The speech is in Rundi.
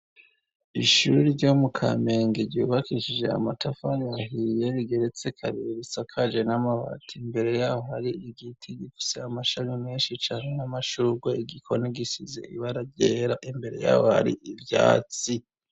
Ishuri ryo mu kamenge ryubakishije amatafana yahiye rigeretse kabiri risakaje n'amabati imbere yaho ari igiti gisa amashami menshi cane n'amashurwe igikoni gisize ibararyera imbere yawo aari ivyatsi.